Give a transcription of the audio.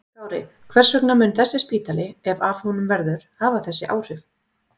Kári, hvers vegna mun þessi spítali, ef af honum verður, hafa þessi áhrif?